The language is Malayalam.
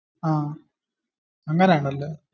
അങ്ങനെ ആണല്ലേ?